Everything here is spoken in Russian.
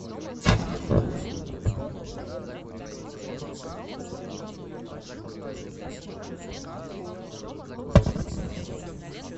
фото пермский краевой многофункциональный центр предоставления государственных и муниципальных услуг